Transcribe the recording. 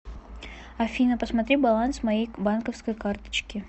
афина посмотри баланс моей банковской карточки